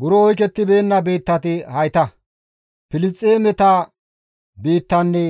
Buro oykettibeenna biittati hayta; Filisxeemeta biittanne